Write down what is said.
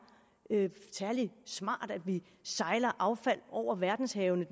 særlig smart at vi sejler affald over verdenshavene